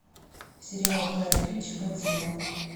сериал гая ричи годзилла